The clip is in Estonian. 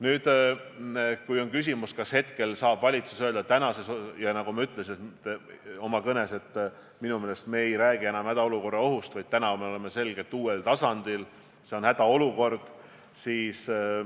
Nüüd, kui on küsimus, kas valitsus saab rääkida hädaolukorrast, siis nagu ma ütlesin oma kõnes, minu meelest me ei räägi enam hädaolukorra ohust, vaid me oleme selgelt uuel tasandil: see on hädaolukord.